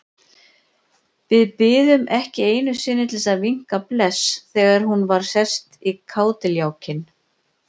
Við biðum ekki einu sinni til að vinka bless þegar hún væri sest í kádiljákinn.